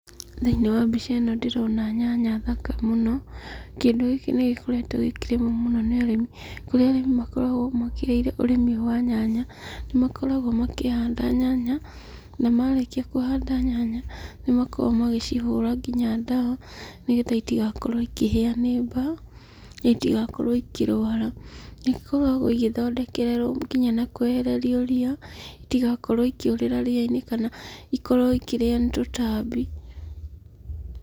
Thĩiniĩ wa mbica ĩno ndĩrona nyanya thaka mũno. Kĩndũ gĩkĩ nĩ gĩkoretwo gĩkĩrĩmwo mũno nĩ arĩmi. Kũrĩa arĩmi makoragwo mekĩrĩire ũrĩmi ũyũ wa nyanya, nĩ makoragwo makĩhanda nyanya ,na marĩkia kũhanda nyanya nĩ makoragwo magĩcihũra nginya ndawa nĩ getha itigakorwo ikĩhĩa nĩ mbaa na itigakorwo ikĩrwara. Nĩ ikoragwo igĩthondekererwo nginya na kwehererio ria itigakorwo ikĩũrĩra ria-inĩ kana ikorwo ikĩrĩo nĩ tũtambi.